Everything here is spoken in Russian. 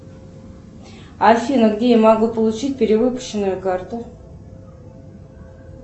афина где я могу получить перевыпущенную карту